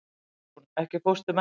Hugrún, ekki fórstu með þeim?